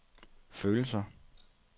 følelser